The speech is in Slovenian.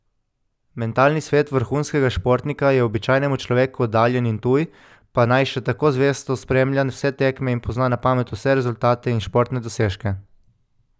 Mentalni svet vrhunskega športnika je običajnemu človeku oddaljen in tuj, pa naj še tako zvesto spremlja vse tekme in pozna na pamet vse rezultate in športne dosežke.